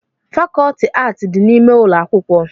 fàkọọtị ààtị dị n'ime ụlọ akwụkwọ